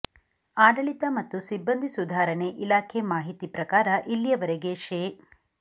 ಆಡಳಿತ ಮತ್ತು ಸಿಬ್ಬಂದಿ ಸುಧಾರಣೆ ಇಲಾಖೆ ಮಾಹಿತಿ ಪ್ರಕಾರ ಇಲ್ಲಿಯವರೆಗೆ ಶೇ